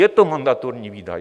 Je to mandatorní výdaj.